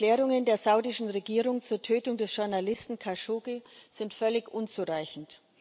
Die Erklärungen der saudischen Regierung zur Tötung des Journalisten Khashoggi sind völlig unzureichend.